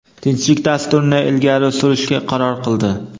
tinchlik dasturini ilgari surishga qaror qildi.